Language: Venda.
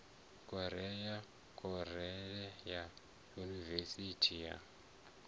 korea khorale ya yunivesithi ya